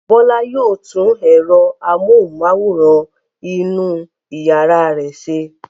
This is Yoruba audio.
Bọ́lá yóò tún ẹ̀rọ amóhùmáwòhán inú ìyàrá rẹ̀ ṣe.